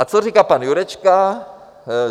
A co říká pan Jurečka?